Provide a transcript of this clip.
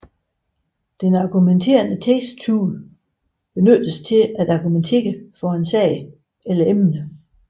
Den argumenterende teksttype benyttes til at argumentere for en sag eller emne